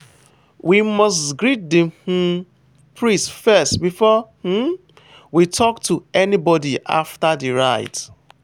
we must greet the um priest first before um we talk to anybody after the rite.